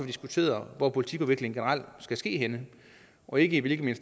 diskuteret hvor politikudvikling generelt skal ske henne og ikke hvilket